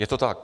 Je to tak.